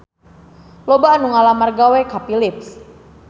Loba anu ngalamar gawe ka Philips